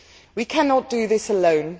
We cannot do this alone.